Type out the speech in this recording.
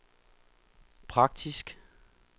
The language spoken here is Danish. praktisk